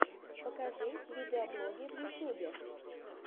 покажи видеоблоги в ютюбе